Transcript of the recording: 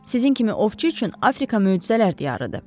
Sizin kimi ovçu üçün Afrika möcüzələr diyarıdır.